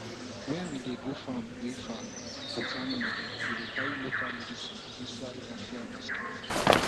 when we dey go farm wey far with animal we dey carry local medicine inside raffia basket